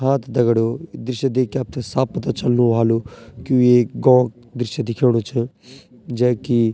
हाँ त दगड़ियों ये दृश्य देखके आपथे साफ़ पता चलणु ह्वालू की यूँ एक गौ क दृश्य दिख्योणू च जैकी।